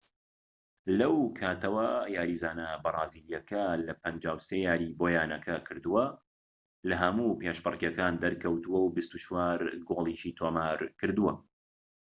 لەو کاتەوە یاریزانە بەرازیلیەکە لە 53 یاریی بۆ یانەکە کردووە لەهەموو پێشبڕکێکان دەرکەوتووە و 24 گۆڵیشی تۆمارکردووە